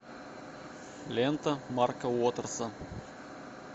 лента марка уотерса